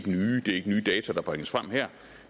nye det er ikke nye data der bringes frem her